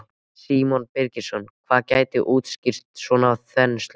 Símon Birgisson: Hvað gæti útskýrt svona þenslu?